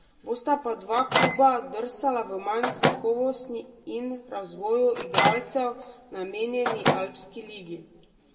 Bosta pa dva kluba drsala v manj kakovostni in razvoju igralcev namenjeni Alpski ligi.